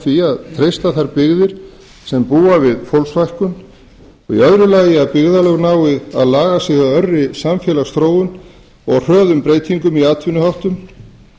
því að treysta þær byggðir sem búa við fólksfækkun í öðru lagi að byggðarlög nái að laga sig að örri samfélagsþróun og hröðum breytingum í atvinnuháttum